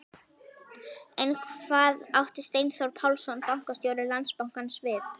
En hvað átti Steinþór Pálsson, bankastjóri Landsbankans við?